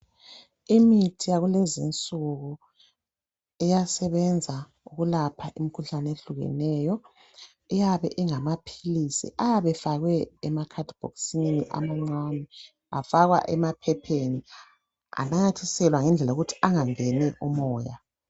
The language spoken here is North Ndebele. Imithi yakulezinsuku iyasebenza ukulapha imikhuhlane ehlukeneyo, iyabe ingamaphilisi ayabe efakwe emakhadibhokisini amancane afakwa emaphapheni ananyathiselwa ngendlela yokuthi angangeni umoya.